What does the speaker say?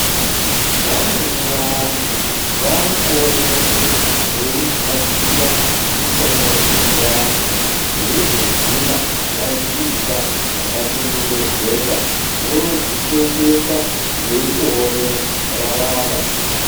Vamweni vantu varikuoneke veigadzira mishonga dzechivantu veizoguma vadziisa mwakachengetedzeka voodzitengesa veitoone raramo.